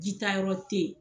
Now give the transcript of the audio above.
Jitayɔrɔ tɛ yen.